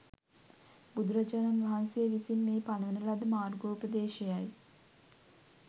බුදුරජාණන් වහන්සේ විසින් මේ පනවන ලද මාර්ගෝපදේශයයි.